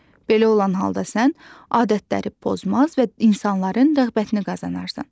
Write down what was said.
Belə olan halda sən adətləri pozmaz və insanların rəğbətini qazanarsan.